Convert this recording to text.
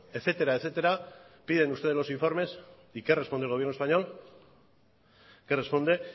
etcétera etcétera piden ustedes los informes y qué responde el gobierno español qué responde